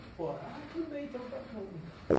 e pô. Ah, tudo bem, então